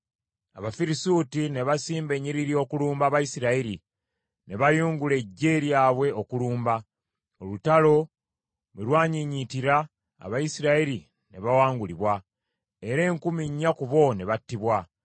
Abafirisuuti ne basimba ennyiriri okulumba Abayisirayiri ne bayungula eggye lyabwe okulumba; olutalo bwe lwanyiinyiitira, Abayisirayiri ne bawangulibwa, era enkumi nnya ku bo ne battibwa.